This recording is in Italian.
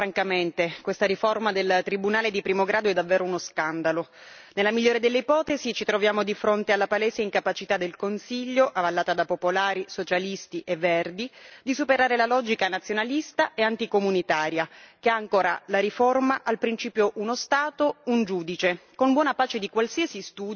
Nella migliore delle ipotesi, ci troviamo di fronte alla palese incapacità del Consiglio, avallata da Popolari, Socialisti e Verdi, di superare la logica nazionalista e anticomunitaria che ha ancora la riforma al principio uno Stato, un giudice, con buona pace di qualsiasi studio di impatto sulla reale necessità di raddoppiare il numero dei giudici.